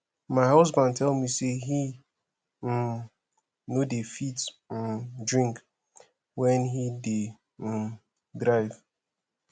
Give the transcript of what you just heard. my husband tell me say he um no dey fit um drink wen he dey um drive